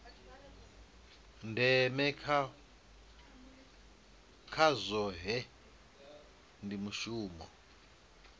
ndeme kha zwohe ndi mushumo